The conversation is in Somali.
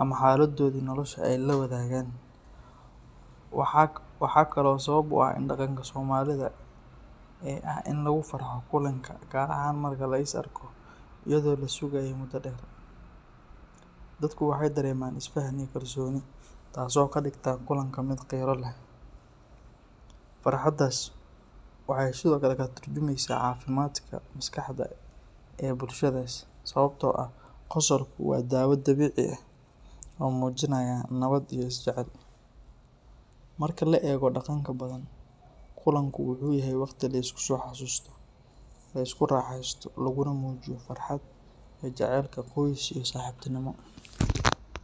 ama xaaladoodii nolosha ee ay la wadaagaan. Waxaa kaloo sabab u ah dhaqanka Soomaalida ee ah in lagu farxo kulanka, gaar ahaan marka la is arko iyadoo la sugayay muddo dheer. Dadku waxay dareemaan is fahan iyo kalsooni, taasoo ka dhigta kulanka mid qiiro leh. Farxaddaas waxay sidoo kale ka tarjumaysaa caafimaadka maskaxda ee bulshadaas, sababtoo ah qosolku waa daawo dabiici ah oo muujinaysa nabad iyo is jecel. Marka la eego dhaqanka Badhan, kulanku wuxuu yahay waqti la isku soo xasuusto, la isku raaxeysto, laguna muujiyo farxadda iyo jacaylka qoys iyo saaxiibtinimo.